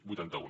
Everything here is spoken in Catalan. vuitanta un